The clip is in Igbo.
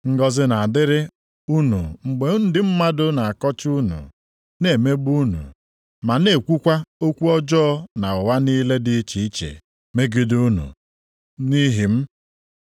“Ngọzị na-adịrị unu mgbe ndị mmadụ na-akọcha unu, na-emegbu unu, ma na-ekwukwa okwu ọjọọ na ụgha niile dị iche iche megide unu nʼihi m.